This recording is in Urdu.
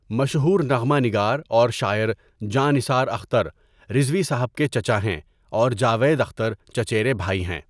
مشہور نغمہ نگار اور شاعر جاں نثار اختر، رضوی صاحب کے چچا ہیں اور جاوید اختر چچیرے بھائی ہیں.